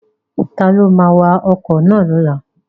Ta ló ma wa ọkọ̀ lọ́la?